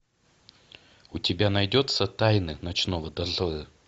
у тебя найдется тайны ночного дозора